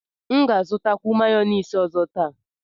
M ga-azụtakwu mayọniisi ọzọ taa.